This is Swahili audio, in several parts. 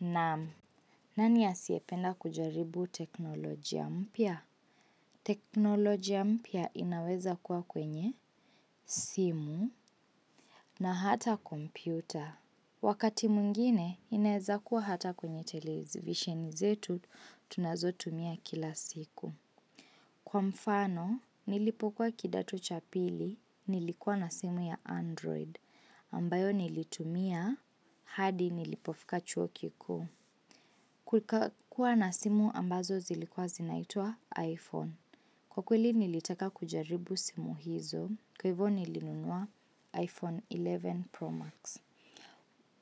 Naam, nani asiyependa kujaribu teknolojia mpya? Teknolojia mpya inaweza kuwa kwenye, simu na hata kompyuta. Wakati mwingine, inaeza kuwa hata kwenye televisheni zetu tunazo tumia kila siku. Kwa mfano, nilipokuwa kidato cha pili, nilikuwa na simu ya Android, ambayo nilitumia, hadi nilipofika chuo kikuu. Kuka kuwa na simu ambazo zilikwa zinaitwa, iPhone. Kwa kweli nilitaka kujaribu simu hizo, kwa hivo nilinunua, iPhone kumi na moja Pro Max.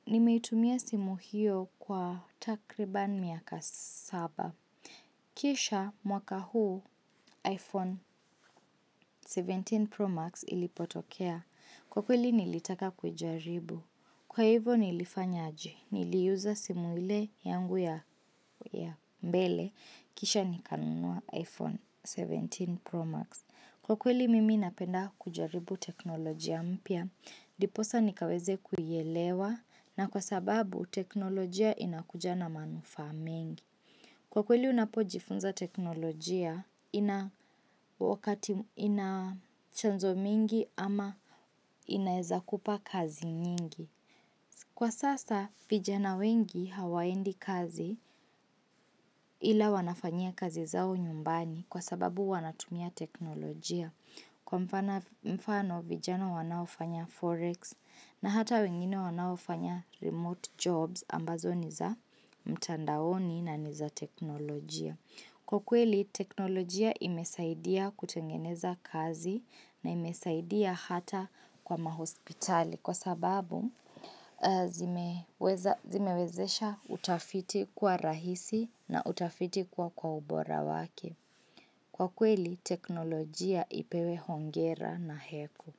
Nimeitumia simu hiyo, kwa takriban miaka saba. Kisha, mwaka huu, iPhone kumi na saba Pro Max ilipotokea. Kwa kweli nilitaka kuijaribu. Kwa hivo nilifanya aje, nili iuza simu ile yangu ya mbele. Kisha, nikanunua iPhone kumi na saba Pro Max. Kwa kweli, mimi napenda kujaribu teknolojia mpya. Ndiposa nikaweza kuielewa. Na kwa sababu, teknolojia inakuja na manufaa mengi. Kwa kweli unapojifunza teknolojia, ina chanzo mingi ama inaeza kupa kazi nyingi. Kwa sasa, vijana wengi hawaendi kazi, ila wanafanyia kazi zao nyumbani, kwa sababu wanatumia teknolojia. Kwa mfano vijana wanaofanya forex na hata wengine wanaofanya remote jobs, ambazo niza mtandaoni na niza teknolojia. Kwa kweli, teknolojia imesaidia kutengeneza kazi na imesaidia hata kwa mahospitali kwa sababu zimewezesha utafiti kuwa rahisi na utafiti kuwa kwa ubora wake. Kwa kweli, teknolojia ipewe hongera na heko.